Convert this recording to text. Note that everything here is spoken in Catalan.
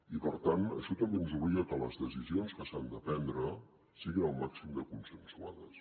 i per tant això també ens obliga que les decisions que s’han de prendre siguin el màxim de consensuades